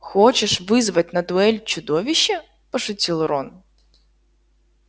хочешь вызвать на дуэль чудовище пошутил рон